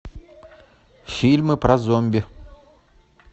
фильмы про зомби